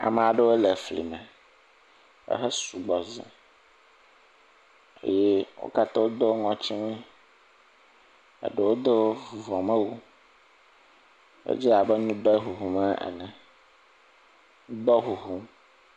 Ame aɖewo le fli me. Ehe sugbɔ za eye wo kata wo ŋɔti wu eye eɖeo do vuvɔ me wu, edze abe ŋdɔ ŋuŋu ene. ŋdɔ ŋuŋum.